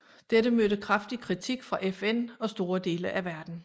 Dette mødte kraftig kritik fra FN og store dele af verden